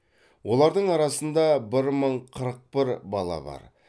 олардың арасында бір мың қырық бір бала бар